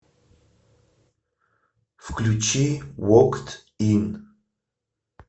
включи вокд ин